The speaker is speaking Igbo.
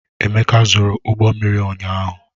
Emeka zụrụ ụgbọ mmiri ụnyaahụ.